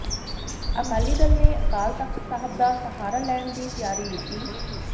ਅਕਾਲੀ ਦਲ ਨੇ ਅਕਾਲ ਤਖ਼ਤ ਸਾਹਿਬ ਦਾ ਸਹਾਰਾ ਲੈਣ ਦੀ ਤਿਆਰੀ ਵਿੱਢੀ